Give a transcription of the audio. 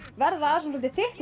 verða að soldið þykku